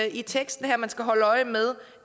i teksten her man skal holde øje med